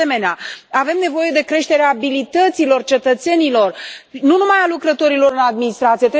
De asemenea, avem nevoie de creșterea abilităților cetățenilor, nu numai a lucrătorilor în administrație.